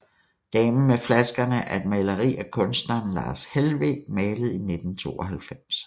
Damen med flaskerne er et maleri af kunstneren Lars Helweg malet i 1992